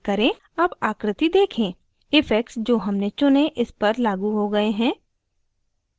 अब आकृति देखें effects जो हमने चुनें इस पर लागू हो गए हैं